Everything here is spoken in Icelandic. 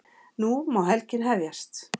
Nú má helgin hefjast!